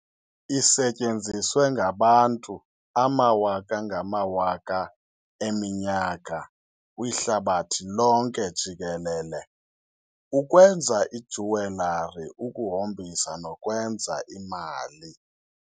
Isetyenziswe ngabantu amawaka-ngamawaka eminyaka kwihlabathi lonke jikelele, ukwenza ijewelary, ukuhombisa, nokwenza imali.